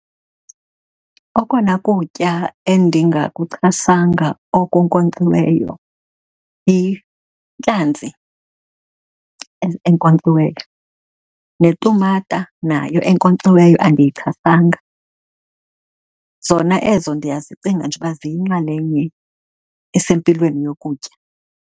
Okona kutya endingakuchasanga okunkonkxiweyo yintlanzi enkonkxiweyo, netumata nayo enkonkxiweyo andiyichasanga. Zona ezo ndiyazicinga nje uba ziyinxalenye esempilweni yokutya.